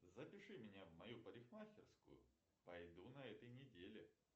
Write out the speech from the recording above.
запиши меня в мою парикмахерскую пойду на этой неделе